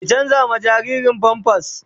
Ki canza jaririn "pampers "